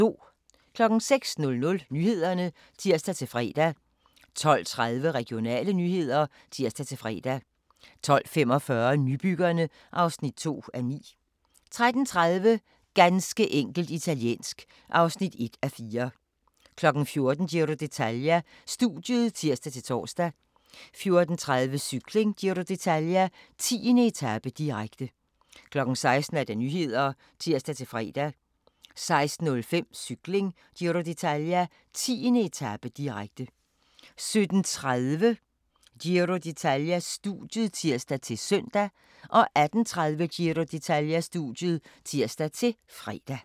06:00: Nyhederne (tir-fre) 12:30: Regionale nyheder (tir-fre) 12:45: Nybyggerne (2:9) 13:30: Ganske enkelt italiensk (1:4) 14:00: Giro d'Italia: Studiet (tir-tor) 14:30: Cykling: Giro d'Italia - 10. etape, direkte 16:00: Nyhederne (tir-fre) 16:05: Cykling: Giro d'Italia - 10. etape, direkte 17:30: Giro d'Italia: Studiet (tir-søn) 18:30: Giro d'Italia: Studiet (tir-fre)